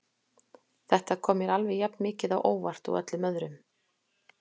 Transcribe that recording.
Þetta kom mér alveg jafn mikið á óvart og öllum öðrum.